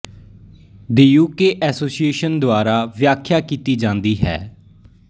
ਦੀ U K association ਦੁਆਰਾ ਵਿਆਖਿਆ ਕੀਤੀ ਜ਼ਾਦੀ ਹੈ